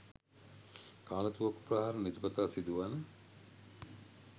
කාලතුවක්කු ප්‍රහාර නිතිපතා සිදුවන